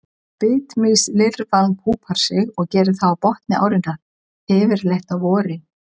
Bitmýslirfan púpar sig og gerir það á botni árinnar, yfirleitt á vorin.